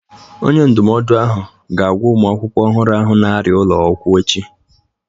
Onye ndụmọdụ ahụ ga-agwa ụmụ akwụkwọ ọhụrụ ahụ na-arịa ụlọ okwu echi